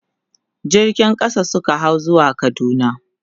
jirgin ƙasa Suka hau zuwa kaduna